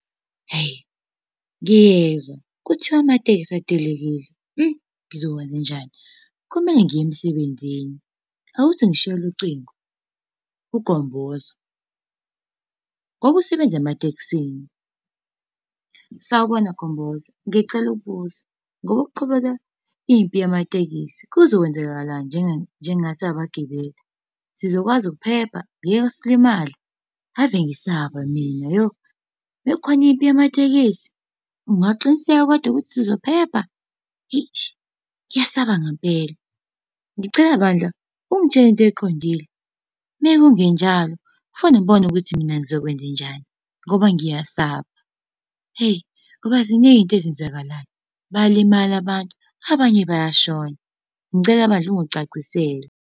Hhayi ngiyezwa, kuthiwa amatekisi atelekile, ngizokwenzenjani? Kumele ngiye emsebenzini. Awuthi ngishayele ucingo kuGomboza ngoba usebenza ematekisini. Sawubona Gomboza, ngicela ukubuza, ngoba kuqhubeka impi yamatekisi, kuzokwenzakalani njengathi siyabagibeli? Sizokwazi ukuphepha, ngeke silimale? Ave ngisaba mina yo. Uma kukhona impi yamatekisi, ungaqiniseka kodwa ukuthi sizophepha? Eish, ngiyasaba ngempela. Ngicela bandla, ungitshele into eqondile, uma kungenjalo fanele ngibone ukuthi mina ngizokwenzenjani, ngoba ngiyasaba. Hheyi ngoba ziningi izinto ezenzakalayo, bayalimala abantu, abanye bayashona. Ngicela bandla ungicacisele.